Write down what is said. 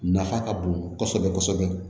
Nafa ka bon kosɛbɛ kosɛbɛ